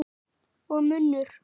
Og munnur